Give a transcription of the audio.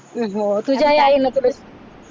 तुझ्याही आईन तुला